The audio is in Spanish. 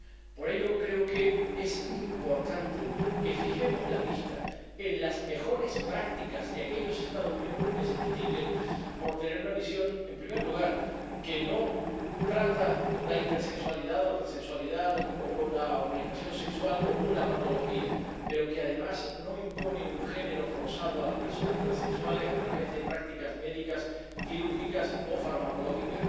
Por ello, creo que es importante que fijemos la vista en las mejores prácticas de aquellos Estados miembros que se distinguen por tener una visión, en primer lugar, que no trata la intersexualidad o la transexualidad o la orientación sexual como una patología, pero que, además, no impone un género forzado a las personas transexuales a través de prácticas médicas, quirúrgicas o farmacológicas.